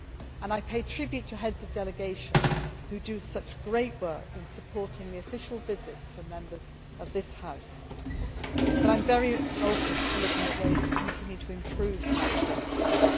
And I pay tribute to the Heads of Delegations who do such great work in supporting the official visits for Members of this House. But I am very open to looking at ways to continue to improve that cooperation.